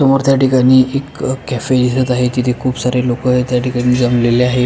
समोर त्या ठिकाणी एक कॅफे दिसत आहे तिथे खूप सारे लोक त्याठिकाणी जमलेले आहेत.